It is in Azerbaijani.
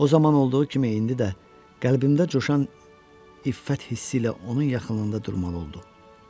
O zaman olduğu kimi indi də qəlbimdə coşan iffət hissi ilə onun yaxınlığında durmalı oldu.